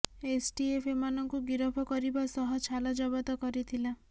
STF ଏମାନଙ୍କୁ ଗିରଫ କରିବା ସହ ଛାଲ ଜବତ କରିଥିଲା